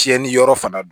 Tiɲɛni yɔrɔ fana don